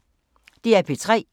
DR P3